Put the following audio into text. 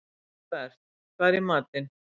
Hólmbert, hvað er í matinn?